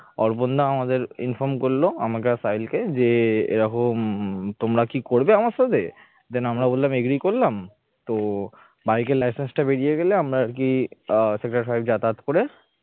অর্পণ দা আমাদের inform করল আমাকে আর সাহিলকে যে এরকম তোমরা কি করবে আমার সাথে then আমরা বললাম agree করলাম তো bike র licence টা বেরিয়ে গেলে আমরা আর কি আহ sector five যাতায়াত করে